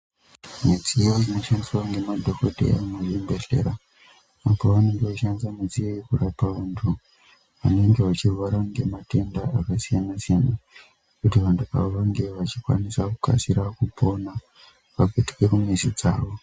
Midziyo inoshandiswa inoshandiswa ngemadhokodheya muzvibhedhlera apo vanenge vachishandisa midziyo iyi kurapa vantu vanenge vachirwara ngematenda akasiyana-siyana kuti vantu ava vange vachikwanisa kukasika kupona vapetuke kumizi dzavo.